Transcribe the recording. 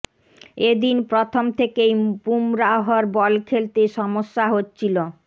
এ দিন প্রথম থেকেই বুমরাহর বল খেলতে সমস্যা হচ্ছিল